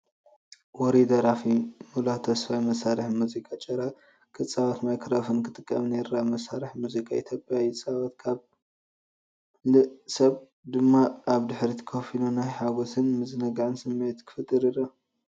ውሩይ ደራፊ ሙላው ተስፋይ መሳርሒ ሙዚቃ ጭራ ክጻወትን ማይክሮፎን ክጥቀምን ይርአ። መሳርሒ ሙዚቃ ኢትዮጵያ ይጻወት፣ ካልእ ሰብ ድማ ኣብ ድሕሪት ኮፍ ኢሉ ናይ ሓጎስን ምዝንጋዕን ስምዒት ክፈጥር ይረአ።